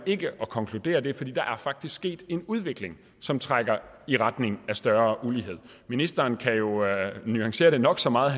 ikke at konkludere det fordi der faktisk er sket en udvikling som trækker i retning af større ulighed ministeren kan jo nuancere det nok så meget